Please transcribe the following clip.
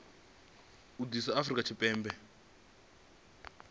u zwi ḓisa afrika tshipembe